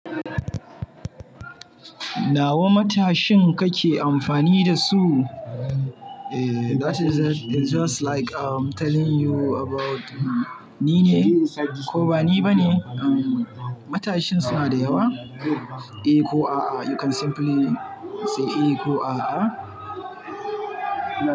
Nawa matashin kake amfani da su? Eh, is just like I'm telling you about ni ne ko ba ni ba ne. Matashin suna da yawa. Eh ko a'a, you can simply say eh ko a'a.